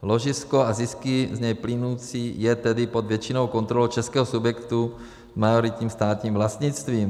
Ložisko a zisky z něj plynoucí je tedy pod většinovou kontrolou českého subjektu s majoritním státním vlastnictvím.